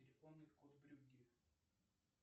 телефонный код брюгге